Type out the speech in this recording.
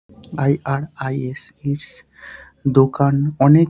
I. R. I. S. It's দোকান অনেক--